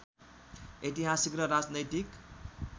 ऐतिहासिक र राजनैतिक